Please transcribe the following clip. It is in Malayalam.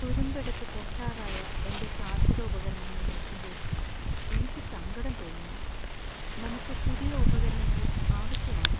തുരുമ്പെടുത്ത് പൊട്ടാറായ എന്‍റെ കാർഷിക ഉപകരണങ്ങൾ നോക്കുമ്പോൾ എനിക്ക് സങ്കടം തോന്നുന്നു. നമുക്ക് പുതിയ ഉപകരണങ്ങൾ ആവശ്യമാണ്.